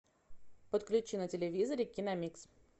подключи на телевизоре киномикс